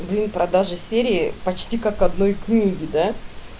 ну и продажа серии почти как одной книги да